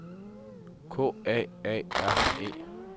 K A A R E